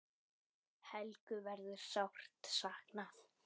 Helgu verður sárt saknað.